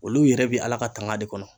Olu yɛrɛ bi Ala ka tanga de kɔnɔ